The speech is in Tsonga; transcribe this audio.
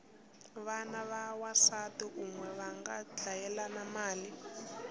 vana va wansati unwe vanga dlayelana mali